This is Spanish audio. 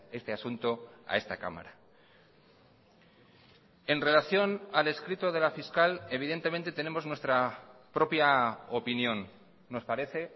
este asunto a esta cámara en relación al escrito de la fiscal evidentemente tenemos nuestra propia opinión nos parece